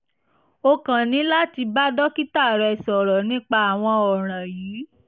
o kàn ní láti bá dókítà rẹ̀ sọ̀rọ̀ nípa àwọn ọ̀ràn yìí